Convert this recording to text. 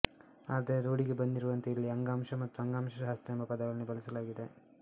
ಆದರೆ ರೂಢಿಗೆ ಬಂದಿರುವಂತೆ ಇಲ್ಲಿ ಅಂಗಾಂಶ ಮತ್ತು ಅಂಗಾಂಶಶಾಸ್ತ್ರ ಎಂಬ ಪದಗಳನ್ನೇ ಬಳಸಲಾಗಿದೆ